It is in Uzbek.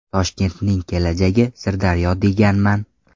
Toshkentning kelajagi Sirdaryo deganman.